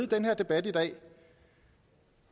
den her debat i dag